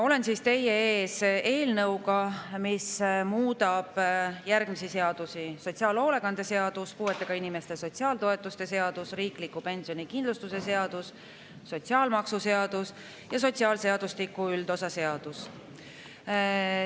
Olen teie ees eelnõuga, mis muudab järgmisi seadusi: sotsiaalhoolekande seadus, puuetega inimeste sotsiaaltoetuste seadus, riikliku pensionikindlustuse seadus, sotsiaalmaksuseadus ja sotsiaalseadustiku üldosa seadus.